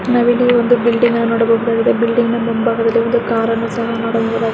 ನಾವಿಲ್ಲಿ ಒಂದು ಬಿಲ್ಡಿಂಗ್ ಅನ್ನ ನೋಡಬಹುದಾಗಿದೆ ಬಿಲ್ಡಿಂಗ್ ನ ಮುಂಬಾಗದಲ್ಲಿ ಒಂದು ಕಾರ ನ್ನು ಸಹ ನೋಡಬಹುದಾಗಿ .